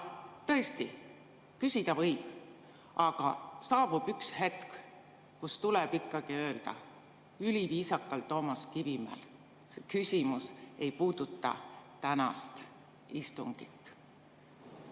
Tõesti, küsida võib, aga saabub üks hetk, kui Toomas Kivimäel tuleb öelda üliviisakalt, et küsimus ei puuduta tänast istungit.